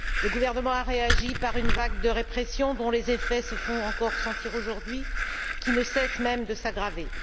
Le gouvernement a réagi par une vague de répression dont les effets se font encore sentir aujourd'hui, qui ne cessent même de s'aggraver.